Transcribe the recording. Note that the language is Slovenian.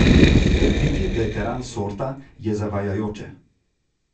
Trditi, da je teran sorta, je zavajajoče.